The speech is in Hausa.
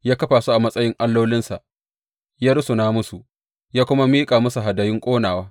Ya kafa su a matsayin allolinsa, ya rusuna musu, ya kuma miƙa musu hadayun ƙonawa.